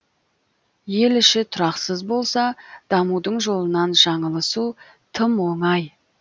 ел іші тұрақсыз болса дамудың жолынан жаңылысу тым оңай